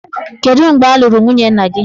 Kedu mgbe a lụrụ nwunye nna gị?